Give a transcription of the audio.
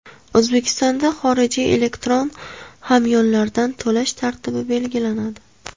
O‘zbekistonda xorijiy elektron hamyonlardan to‘lash tartibi belgilanadi.